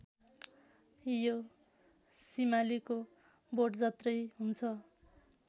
यो सिमालीको बोटजत्रै हुन्छ